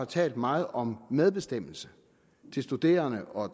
talt meget om medbestemmelse til studerende og